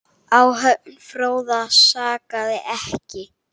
Áhöfn Fróða sakaði ekki.